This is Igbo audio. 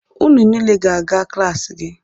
Unu niile ga-aga klaasị gị!